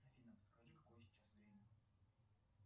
афина подскажи какое сейчас время